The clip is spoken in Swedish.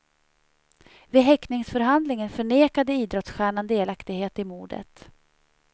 Vid häktningsförhandlingen förnekade idrottsstjärnan delaktighet i mordet.